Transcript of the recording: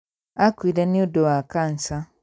Akuire nĩũndũ wa kanja